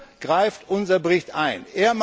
Hier greift unser Bericht ein.